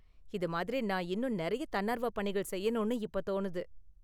இது மாதிரி நான் இன்னும் நிறைய தன்னார்வ பணிகள் செய்யணும்னு இப்ப தோணுது.